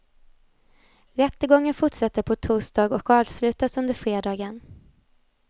Rättegången fortsätter på torsdag och avslutas under fredagen.